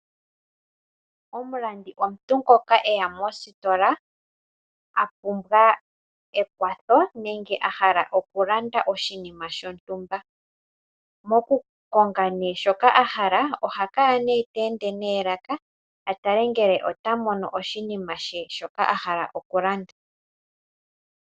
Omulandi omuntu ngoka e ya mositola a pumbwa ekwatho nenge a hala okulanda oshinima shontumba. Mokukonga shoka a hala oha kala te ende noolaka a tale ngele ota mono oshinima she shoka a hala okulanda.